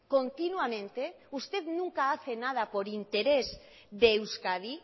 continuamente usted nunca hace nada por interés de euskadi